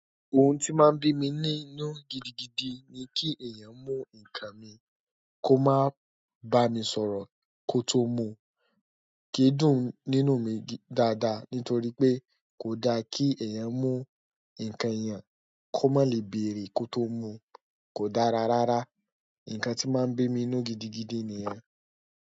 Ohun tí máa ń bí mi ní inú gidigidi ni kí èèyàn mú nǹkan mi kó má bá mi sọ̀rọ̀ kó tó mú, kíí dùn nínú mi dáadáa. Nítorí pé kò da kí èèyàn mú nǹkan èèyàn kó má lè bèrè kó tó mú, kò dára rárá. Ǹǹkan tí máa ń bí mi nínú gidigidi nìyẹn.